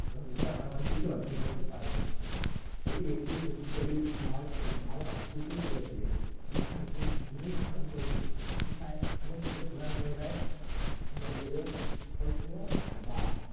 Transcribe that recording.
এছাড়াও আরো অনেক কিছু অর্জন করতে পারবেন এটি ব্যাক্তিকে শক্তিশালী মার্গ এবং আত্মীয় শালী করে তোলে শিক্ষা নতুন জিনিস সম্পর্কে শেখায় অনেক সুযোগ প্রদান করে দেয় এটা লোকেদের আকর্ষণীয় বা